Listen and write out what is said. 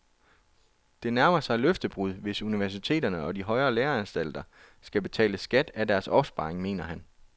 Det nærmer sig løftebrud, hvis universiteterne og de højere læreanstalter skal betale skat af deres opsparing, mener han.